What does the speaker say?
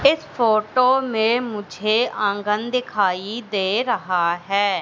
इस फोटो में मुझे आंगन दिखाई दे रहा है।